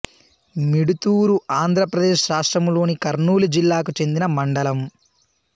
మిడుతూరు ఆంధ్ర ప్రదేశ్ రాష్ట్రములోని కర్నూలు జిల్లాకు చెందిన మండలం